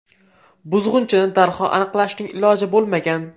Buzg‘unchini darhol aniqlashning iloji bo‘lmagan.